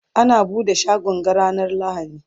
ana buɗe shagon ga ranar lahadi